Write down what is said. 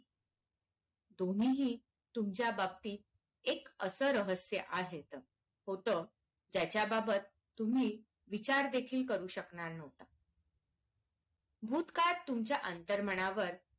दोन्हीही तुमच्या बाबतीत एक असं रहस्य आहेत तर होत त्याच्या बाबततुम्ही विचार देखील करू शकणार नाही भूतकाळ तुमच्या अंतरमनावर